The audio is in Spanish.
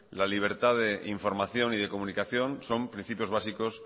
la libertad de información y de comunicación son principios básicos